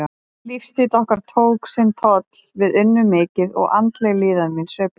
Lífsstíll okkar tók sinn toll, við unnum mikið og andleg líðan mín sveiflaðist.